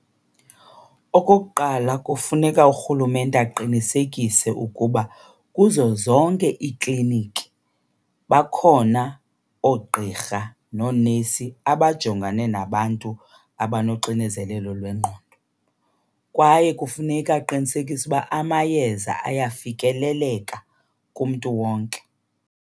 Okokuqala, kufuneka urhulumente aqinisekise ukuba kuzo zonke iikliniki bakhona oogqirha noonesi abajongane nabantu abanoxinzelelo lwengqondo. Kwaye kufuneka aqinisekise ukuba amayeza ayafikeleleka kumntu wonke.